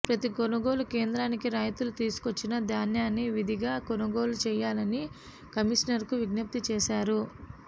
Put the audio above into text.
ప్రతి కొనుగోలు కేంద్రానికి రైతులు తీసుకొచ్చిన ధాన్యాన్ని విధిగా కొనుగోలు చేయాలని కమిషనర్కు విజ్ఞప్తి చేశారు